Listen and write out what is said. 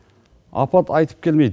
апат айтып келмейді